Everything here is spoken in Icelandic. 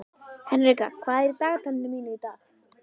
Henrika, hvað er í dagatalinu mínu í dag?